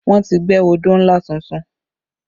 Wọ́n ti gbẹ́ odó ńlá tuntun